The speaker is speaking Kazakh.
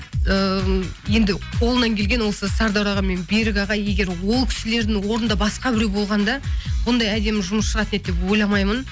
ыыы енді қолынан келген осы сардор аға мен берік аға егер ол кісілердің орнында басқа біреу болғанда бұндай әдемі жұмыс шығатын еді деп ойламаймын